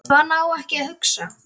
Svona á ekki að hugsa.